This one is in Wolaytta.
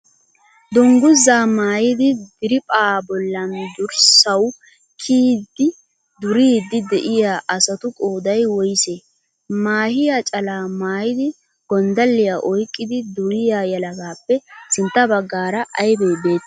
Dungizzaa maayidi diriiphaa bollan durssawu kiyidi duriiddi de'iyaa asatu qooday woysee? Maahiyaa calaa maayidi gonddalliyaa oyqqidi duriyaa yelagaappe sintta baggaara aybee beettiyay?